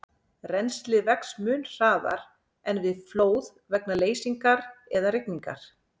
Rennslið vex mun hraðar en við flóð vegna leysingar eða rigningar.